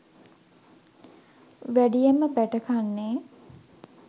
වැඩියෙන්ම බැටකන්නේ